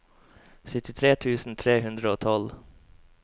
syttitre tusen tre hundre og tolv